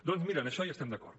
doncs mira en això hi estem d’acord